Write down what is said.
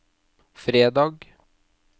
fredag